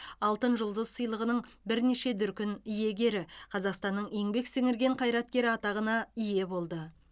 алтын жұлдыз сыйлығының бірнеше дүркін иегері қазақстанның еңбек сіңірген қайраткері атағына ие болды